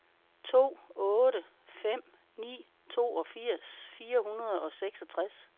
to otte fem ni toogfirs fire hundrede og seksogtres